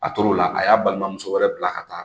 A toro la a y'a balimamuso wɛrɛ bila ka taa